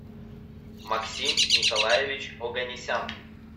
максим николаевич оганесян